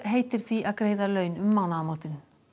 heitir því að greiða laun um mánaðamót